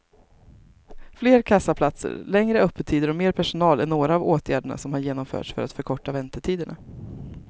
Fler kassaplatser, längre öppettider och mer personal är några av åtgärderna som har genomförts för att förkorta väntetiderna.